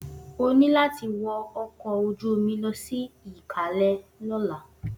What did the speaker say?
O ní láti wọ ọkọ̀ ojú-omi lọ sí Ìkalẹ́ lọ́la!